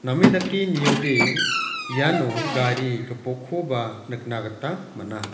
name dake niode iano gari gipokkoba nikna gita man·a.